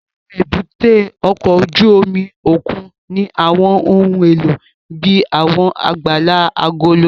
Àwọn èbúté ọkọ̀ ojú omi òkun ní àwọn ohun èlò bíi àwọn àgbàlá agolo.